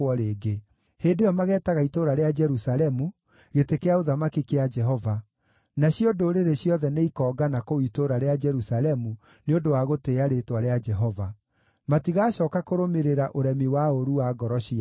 Hĩndĩ ĩyo mageetaga itũũra rĩa Jerusalemu Gĩtĩ kĩa Ũthamaki kĩa Jehova, nacio ndũrĩrĩ ciothe nĩikongana kũu itũũra rĩa Jerusalemu nĩ ũndũ wa gũtĩĩa rĩĩtwa rĩa Jehova. Matigacooka kũrũmĩrĩra ũremi wa ũũru wa ngoro ciao.